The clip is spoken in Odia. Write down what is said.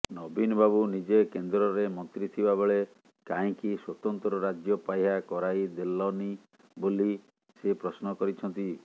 ନବୀନବାବୁ ନିଜେ କେନ୍ଦ୍ରରେ ମନ୍ତ୍ରୀଥିବାବେଳେ କାହିଁକି ସ୍ୱତନ୍ତ୍ର ରାଜ୍ୟ ପାହ୍ୟା କରାଇ ଦେଲନି ବୋଲି ସେ ପ୍ରଶ୍ନ କରିଛନ୍ତି